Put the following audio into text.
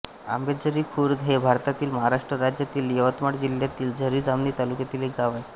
आंबेझरी खुर्द हे भारतातील महाराष्ट्र राज्यातील यवतमाळ जिल्ह्यातील झरी जामणी तालुक्यातील एक गाव आहे